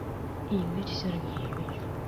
игорь сергеевич